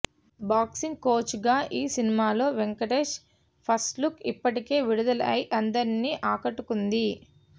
boxing కోచ్గా ఈ సినిమాలో వెంకటేష్ ఫస్ట్లుక్ ఇప్పటికే విడుదలై అందరినీ ఆకట్టుకుంది